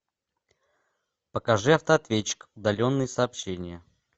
покажи автоответчик удаленные сообщения